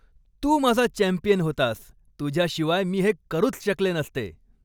तू माझा चॅम्पियन होतास! तुझ्याशिवाय मी हे करूच शकले नसते!